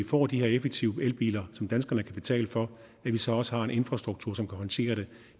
får de her effektive elbiler som danskerne kan betale for så også har en infrastruktur som kan håndtere det